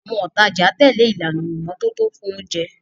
Àwọn òtajà tẹ̀lé ìlànà ìmọ́tótó fún oúnjẹ.